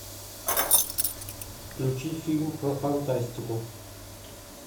включи фильм про фантастику